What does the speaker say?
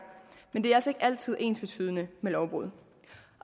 men det er altså ikke altid ensbetydende med lovbrud